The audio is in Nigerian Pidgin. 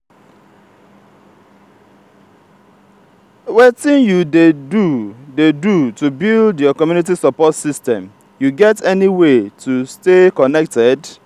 wetin you dey do dey do to build your community support system you get any way tostay connected?